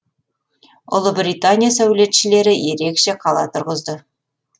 ұлыбритания сәулетшілері ерекше қала тұрғызды